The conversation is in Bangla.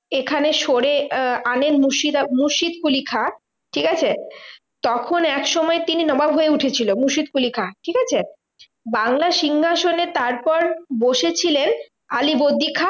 এখানে সরে আহ আনেন মুর্শিদকুলি খাঁ, ঠিকাছে? তখন একসময় তিনি নবাব হয়ে উঠেছিল মুর্শিদকুলি খাঁ, ঠিকাছে? বাংলার সিংহাসনে তারপর বসেছিলেন আলীবর্দী খাঁ।